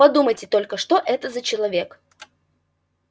подумайте только что это за человек